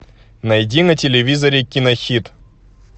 найди на телевизоре кинохит